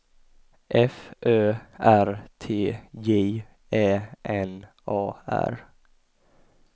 F Ö R T J Ä N A R